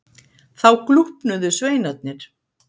Þá glúpnuðu sveinarnir.